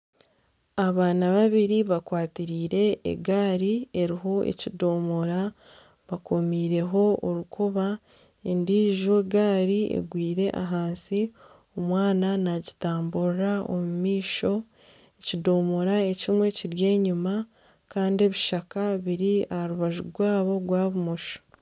Abaana babiri bakwatiraire egaari eriho ekidomora bakomiiseho orukoba endiijo egari egwire ahansi omwana nagitamburira omu maisho ekidomora ekimwe kiri enyuma Kandi ebishaka biri aharubaju rwaabo rwa bumosho.